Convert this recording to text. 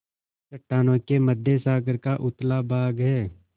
चट्टानों के मध्य सागर का उथला भाग है